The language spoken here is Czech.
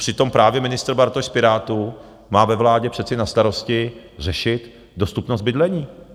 Přitom právě ministr Bartoš z Pirátů má ve vládě přece na starosti řešit dostupnost bydlení.